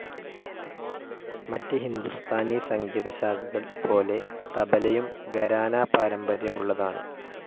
മറ്റ് ഹിന്ദുസ്ഥാനി സംഗീത ശാഖകൾ പോലെ തബലയും ഘരാന പാരമ്പര്യമുള്ളതാണ്.